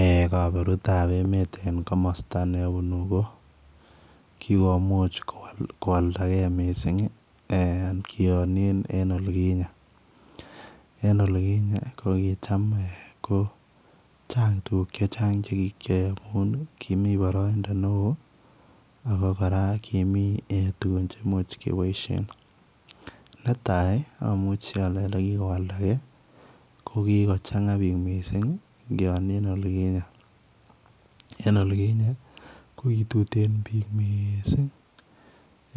Eeh kaburuut en emeen en komostaa ne abunu ko ko kikomuuch kowaldagei missing eeh kiaanien en olikinyei, en olikinyei ko kicham eeh ko chaang tuguuk che chaang chekikyae amuun kimii baraindaa ne wooh ako kora komii tuguun cheimuuch kebaisheen netai amuchi ale ole kikokwaldagei ko kikochanga biik missing ingianien olikinyei, kii en olikinyei ko ki tuteen biik Missing